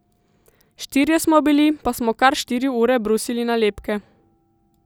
Štirje smo bili, pa smo kar štiri ure brusili nalepke.